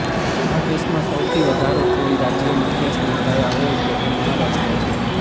આ કેસમાં સૌથી વધારો કોઈ રાજ્યમાં કેસ નોંધાયા હોય તો તે મહારાષ્ટ્ર છે